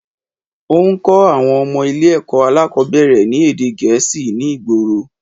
Óún kó àwon ọmọ Ilé èkó alákòbéèrè ní èdè Gèésì ní ìgboro